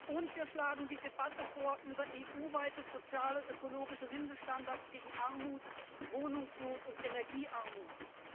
Und wir schlagen eine Debatte über EU weite soziale und ökologische Mindeststandards gegen Armut, Wohnungsnot und Energiearmut vor.